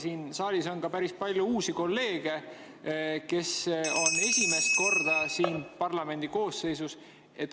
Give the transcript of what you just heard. Siin saalis on päris palju uusi kolleege, kes on esimest korda parlamendi koosseisus.